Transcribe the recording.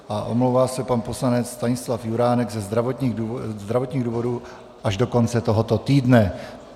A omlouvá se pan poslanec Stanislav Juránek ze zdravotních důvodů až do konce tohoto týdne.